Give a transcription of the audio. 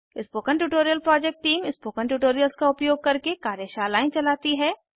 spoken tutorial project team spoken tutorials का उपयोग करके कार्यशालाएं चलाती है